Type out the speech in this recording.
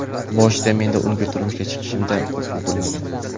Boshida menda unga turmushga chiqishimda qo‘rquv bo‘lmagan.